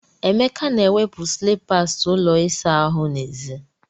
Emeka na-ewepụ slippers ụlọ ịsa ahụ n'èzí.